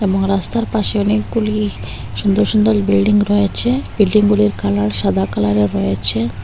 ও রাস্তার পাশে অনেকগুলি সুন্দর সুন্দর বিল্ডিং রয়েছে বিল্ডিংগুলির কালার সাদা কালারের রয়েছে।